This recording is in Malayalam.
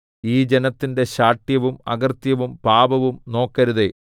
ഈ ജനത്തിന്റെ ശാഠ്യവും അകൃത്യവും പാപവും നോക്കരുതേ